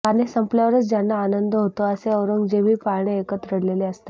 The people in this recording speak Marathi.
गाणे संपल्यावरच ज्यांना आनंद होतो असे औरंगजेबही पाळणे ऐकत रडलेले असतात